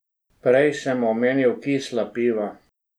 Prej sem omenil kisla piva.